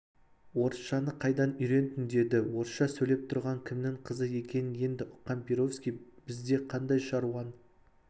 орысшаны қайдан үйрендің деді орысша сөйлеп тұрған кімнің қызы екенін енді ұққан перовский бізде қандай шаруаң